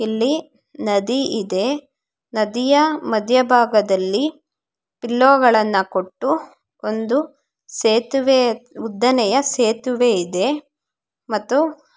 ಇಲ್ಲಿ ನದಿ ಇದೆ ನದಿಯ ಮಧ್ಯಭಾಗದಲ್ಲಿ ಪಿಲ್ಲೋಗಳನ್ನ ಕೊಟ್ಟು ಒಂದು ಸೇತುವೆ ಉದ್ದನೆಯ ಸೇತುವೆ ಇದೆ ಮತ್ತು--